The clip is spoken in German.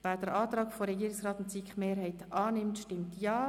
Wer den Antrag von Regierungsrat und SiK-Mehrheit annimmt, stimmt Ja.